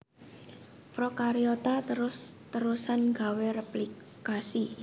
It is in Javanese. Prokariota terus terusan gawé réplikasi